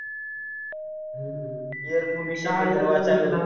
air pollution